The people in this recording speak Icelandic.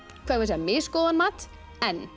misgóðan mat en